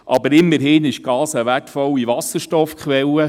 Aber immerhin ist Gas eine wertvolle Wasserstoffquelle;